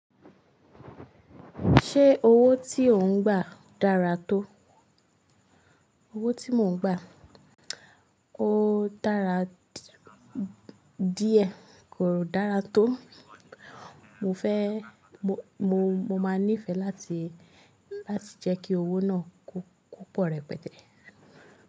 Ṣé owó tí òuń gba dára tó? Owó tí mò ń gba, ó dára díẹ̀, kò dára tó. Mo fẹ́, mo máa nífẹ́ láti, láti jẹ́ kí owó náà kó pọ̀ rẹpẹtẹ.